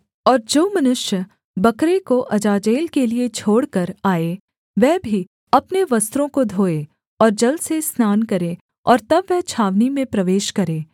और जो मनुष्य बकरे को अजाजेल के लिये छोड़कर आए वह भी अपने वस्त्रों को धोए और जल से स्नान करे और तब वह छावनी में प्रवेश करे